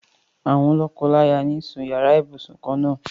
Àwọn lọ́kọláyà ń sun yàrá ibùsùn kan-ná-àn.